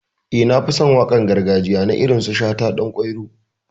Eh, Na fi son waƙar gargajiya na irin su shata, danƙwairo.